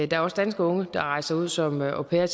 der er også danske unge der rejser ud som au pair